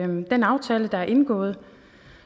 den aftale der er indgået